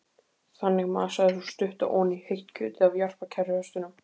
Þannig masaði sú stutta oní heitt kjötið af jarpa kerruhestinum.